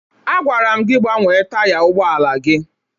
Agwara m gị gbanwe taya ụgbọala gị!